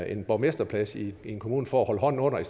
en borgmesterplads i en kommune for at holde hånden under i